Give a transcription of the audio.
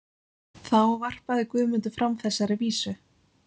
Þá varpaði Guðmundur fram þessari vísu